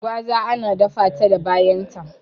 Gwaza ana data ta da bayan ta